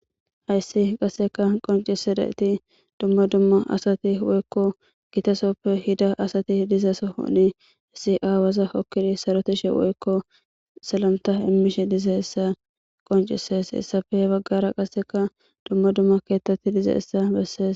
Hayssi qasseka qoncise dayeti dumma dumma asati woykko gitasoppe hida asati dizasohoni issi aawaza okkidi sarotishe woykko selanta immishe dize essa qoncises hessafe baggara qasseka dumma dumma keettetti dize essa bessees